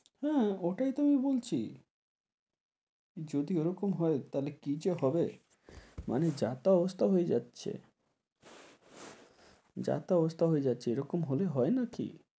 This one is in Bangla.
হ্যাঁ, ওটাই তো আমি বলছি। যদি ওরকম হয় তাহলে কী যে হবে। মানে যা তা অবস্থা হয়ে যাচ্ছে। যা তা অবস্থা হয়ে যাচ্ছে এরকম হলে হয় নাকি?